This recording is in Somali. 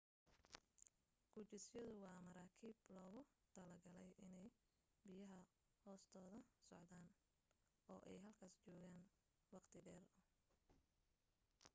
gujisyadu waa maraakiib loogu talo galay inay biyaha hoostooda socdaan oo ay halkaas joogaan waqti dheer